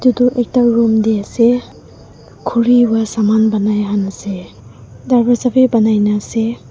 etu ekta room teh ase khuri pra saman banai khan ase darwaja bhi banai na ase.